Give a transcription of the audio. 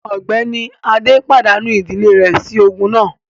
Ọ̀gbẹ́ni Adé pàdánù ìdílé rẹ̀ sí ogun náà